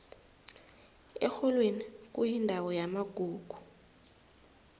erholweni kuyindawo yamagugu